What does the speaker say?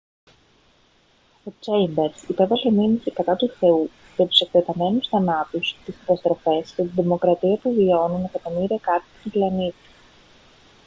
ο τσέιμπερς υπέβαλε μήνυση κατά του θεού για «τους εκτεταμένους θανάτους τις καταστροφές και την τρομοκρατία που βιώνουν εκατομμύρια κάτοικοι του πλανήτη»